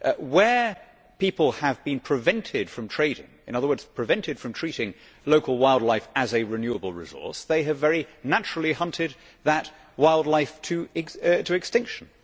Where people have been prevented from trading, in other words prevented from treating local wildlife as a renewable resource, they have very naturally hunted that wildlife to extinction.